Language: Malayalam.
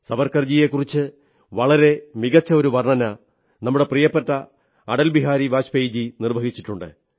സാവർക്കർജിയെക്കുറിച്ച് വളരെ മികച്ച ഒരു വർണ്ണന നമ്മുടെ പ്രിയപ്പെട്ട അടൽ ബിഹാരി വാജ്പേയിജി നിർവ്വഹിച്ചിട്ടുണ്ട്